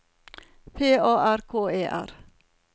P A R K E R